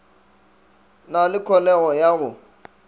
na le kholego ya go